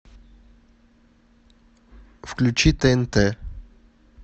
включи тнт